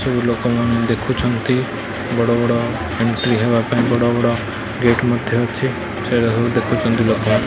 ସବୁ ଲୋକମାନେ ଦେଖୁଚନ୍ତି ବଡ଼ ବଡ଼ ଏଣ୍ଟ୍ରି ହବା ପାଇଁ ବଡ଼ ବଡ଼ ଗେଟ୍ ମଧ୍ୟ ଅଛି ସେଇରା ସବୁ ଦେଖୁଚନ୍ତି ଲୋକମାନେ।